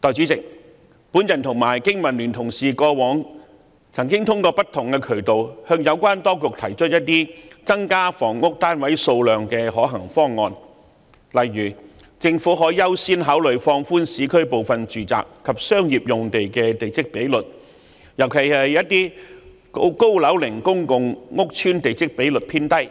代理主席，我和經民聯的同事過往曾經通過不同渠道，向有關當局提出增加房屋單位數量的一些可行方案，例如政府可優先考慮放寬市區部分住宅及商業用地的地積比率，尤其是高樓齡公共屋邨的地積比率偏低，